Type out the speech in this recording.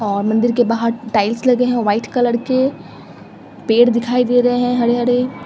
और मंदिर के बाहर टाइल्स लगे हैं वाइट कलर के पेड़ दिखाई दे रहे हैं हरे हरे।